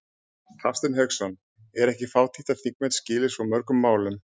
Hafsteinn Hauksson: Er ekki fátítt að þingmenn skili svo mörgum málum?